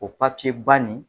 O papiye ba nin.